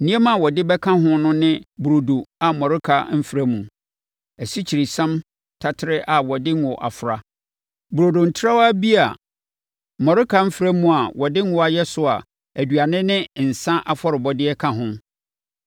Nneɛma a ɔde bɛka ho no ne burodo a mmɔreka mfra mu, asikyiresiam taterɛ a wɔde ngo afra; burodo ntrawa bi a mmɔreka mfra mu a wɔde ngo ayɛ so a aduane ne nsã afɔrebɔdeɛ ka ho.